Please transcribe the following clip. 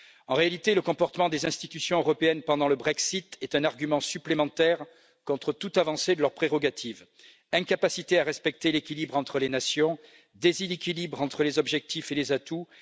En réalité, le comportement des institutions européennes pendant le Brexit est un argument supplémentaire contre toute avancée de leurs prérogatives incapacité à respecter l'équilibre entre les nations, déséquilibre entre les objectifs et les atouts...